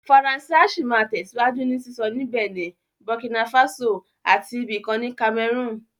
Faransé á sì máa tẹ̀síwájú ní sísọ ní Bẹ̀nẹ̀, Burkina Faso àti ibì kan ní Cameroon